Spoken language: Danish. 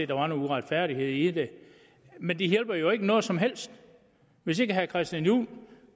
der var nogle uretfærdigheder i det men det hjælper jo ikke noget som helst hvis ikke herre christian juhl